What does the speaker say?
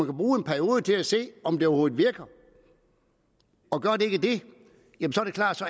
bruge en periode til at se om det overhovedet virker og gør det ikke det